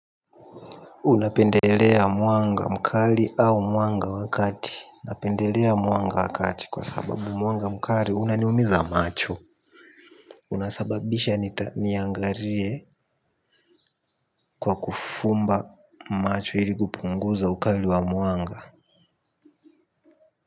Unapendelea mwanga mkali au mwanga wa kati. Napendelea mwanga wa kati kwa sababu mwanga mkali unaniumiza macho una sababisha niangalie kwa kufumba macho ili kupunguza ukali wa mwanga.